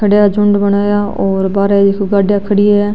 खड़ा झुण्ड बनाया और बाहर देखो गाड़िया खड़ी है।